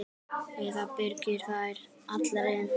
Eða byrgir þær allar inni.